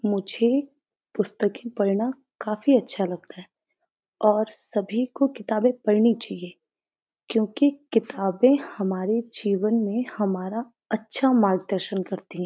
मुझे पुस्तकें पढ़ना काफी अच्छा लगता है और सभी को किताबें पढ़नी चाहिए क्यूंकि किताबें हमारे जीवन में हमारा अच्छा मार्गदर्शन करती --